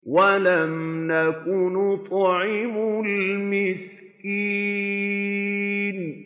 وَلَمْ نَكُ نُطْعِمُ الْمِسْكِينَ